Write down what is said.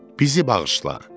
Bizi bağışla.